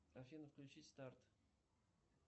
афина включи старт